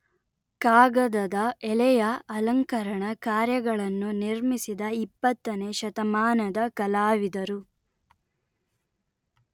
ಕಾಗದದ ಎಲೆಯ ಅಲಂಕರಣ ಕಾರ್ಯಗಳನ್ನು ನಿರ್ಮಿಸಿದ ಇಪ್ಪತ್ತನೇ ಶತಮಾನದ ಕಲಾವಿದರು